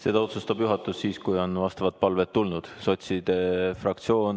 Seda otsustab juhatus siis, kui vastavad palved on tulnud.